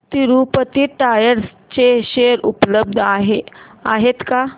Tirupati tyres चे share उपलब्ध आहेत का